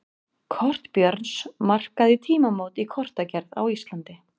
Kort Björns markaði tímamót í kortagerð á Íslandi.